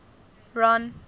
ron